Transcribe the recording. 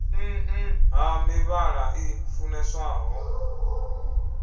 nn ha mivhala i funeswaho